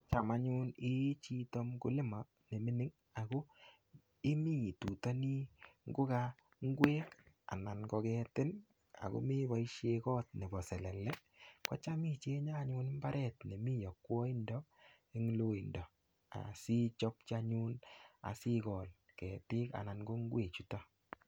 Cham anyun iichito mkulima nemining ako imi itutoni ngoka ingwek anan ko ketin, ameboishe koot nebo selele, kocham ichenye anyun mbaret nemi yokwaido eng loindo. ichopchi anyun asikol ketik anan ko ingwechutok.